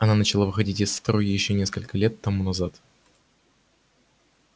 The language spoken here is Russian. она начала выходить из строя ещё несколько лет тому назад